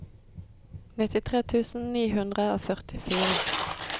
nittitre tusen ni hundre og førtifire